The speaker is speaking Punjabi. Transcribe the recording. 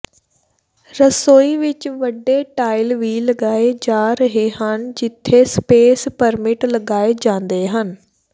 ਰਸੋਈ ਵਿਚ ਵੱਡੇ ਟਾਇਲ ਵੀ ਲਗਾਏ ਜਾ ਰਹੇ ਹਨ ਜਿੱਥੇ ਸਪੇਸ ਪਰਮਿਟ ਲਗਾਏ ਜਾਂਦੇ ਹਨ